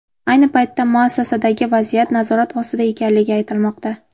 Ayni paytda muassasadagi vaziyat nazorat ostida ekanligi aytilmoqda.